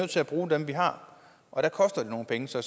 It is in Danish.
til at bruge dem vi har og der koster det nogle penge så